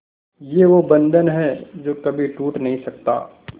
ये वो बंधन है जो कभी टूट नही सकता